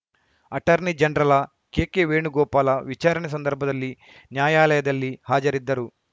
attorney general K K Venugopal ವಿಚಾರಣೆ ಸಂದರ್ಭದಲ್ಲಿ ನ್ಯಾಯಾಲಯದಲ್ಲಿ ಹಾಜರಿದ್ದರು